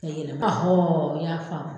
E ye n y'a faamu